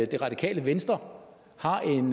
det radikale venstre har en